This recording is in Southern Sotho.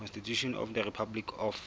constitution of the republic of